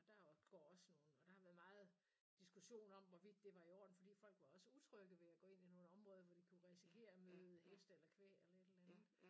Og der og går også nogen og der har været meget diskussion om hvorvidt det var i orden fordi folk var også utrygge ved at gå ind i nogen områder hvor de kunne risikere at møde heste eller kvæg eller et eller andet